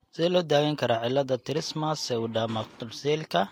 Sidee loo daweyn karaa cillada trismus pseudocamptodactylyka?